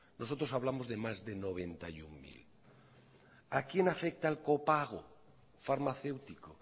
nosotros hablamos de más de noventa y uno mil a quién afecta el copago farmacéutico